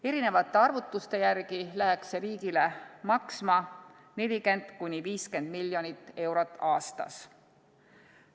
Erinevate arvutuste järgi läheks see riigile maksma 40–50 miljonit eurot aastas.